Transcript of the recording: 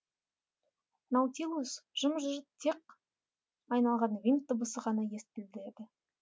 наутилус жым жырт тек айналған винт дыбысы ғана естіледі